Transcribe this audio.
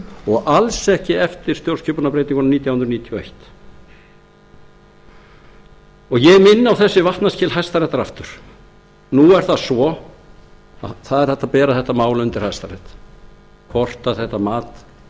og alls ekki eftir stjórnskipunarbreytinguna nítján hundruð níutíu og eitt ég minni á þessi vatnaskil hæstaréttar aftur nú er það svo að það er hægt að bera þetta mál undir hæstarétt hvort þetta mat